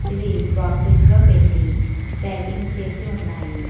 ఇవి బాక్సెస్ లో పెట్టి ప్యాకింగ్ చేసి ఉన్నాయి.